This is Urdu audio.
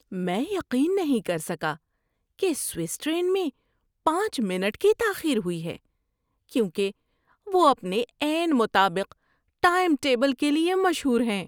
میں یقین نہیں کر سکا کہ سوئس ٹرین میں پانچ منٹ کی تاخیر ہوئی ہے کیونکہ وہ اپنے عین مطابق ٹائم ٹیبل کے لیے مشہور ہیں۔